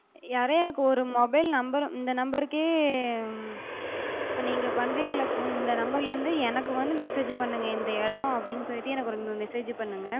யாரோ எனக்கு ஒரு mobile number இந்த number கே இப்ப நீங்க பண்றிங்கல்ல phone, இந்த number ல இருந்து எனக்கு வந்து message பண்ணுங்க. இந்த எடோ அப்டின்னு சொல்லிட்டு எனக்கு ஒரு message பண்ணுங்க